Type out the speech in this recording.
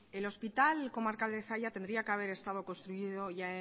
el hospital comarcal de zalla tendría que haber estado construido ya